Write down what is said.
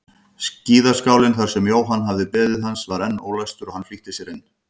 Skíðaskálinn þar sem Jóhann hafði beðið hans var enn ólæstur og hann flýtti sér inn.